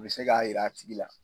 O bɛ se k'a yira a tigi la.